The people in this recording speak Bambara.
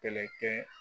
Kɛlɛ kɛ